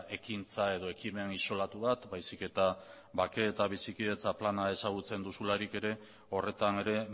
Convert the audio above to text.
ekintza edo ekimen isolatu bat baizik eta bakea eta bizikidetza plana ezagutzen duzularik ere horretan ere